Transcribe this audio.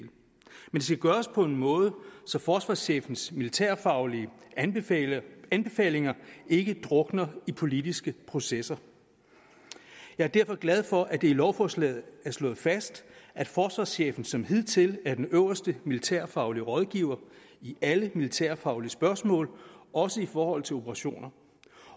skal gøres på en måde så forsvarschefens militærfaglige anbefalinger anbefalinger ikke drukner i politiske processer jeg er derfor glad for at det i lovforslaget er slået fast at forsvarschefen som hidtil er den øverste militærfaglige rådgiver i alle militærfaglige spørgsmål også i forhold til operationer